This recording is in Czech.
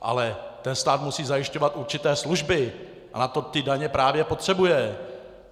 Ale ten stát musí zajišťovat určité služby a na to ty daně právě potřebuje.